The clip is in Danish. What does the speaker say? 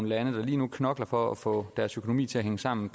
lande der lige nu knokler for at få deres økonomi til at hænge sammen